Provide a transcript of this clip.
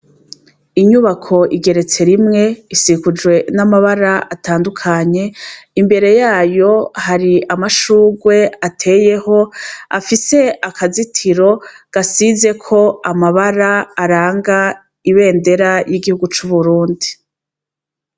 Inyubako igeretse rimwe, isigujwe n'amabara atandukanye, imbere yayo hari amashugwe ateyeho afise akazitiro gasizeko amabara aranga ibendera y'igihugu c'Uburundi.